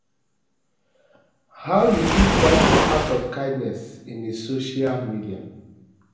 how you fit practice acts of kindness in a social media